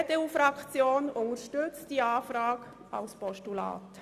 Die EDU-Fraktion unterstützt diesen Vorstoss als Postulat.